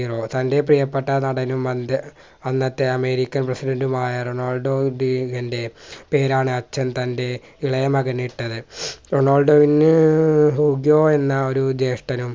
തൻറെ പ്രിയപ്പെട്ട നടനും അന്ത്യ അന്നത്തെ അമേരിക്കൻ പ്രസിഡണ്ടുമായ റൊണാൾഡോയുടെ പേരാണ് അച്ഛൻ തൻറെ ഇളയ മകനിട്ടത്. റൊണാൾഡോയിന് ഹ്യൂഗോ എന്ന ഒരു ജേഷ്ഠനും